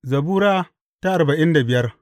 Zabura Sura arba'in da biyar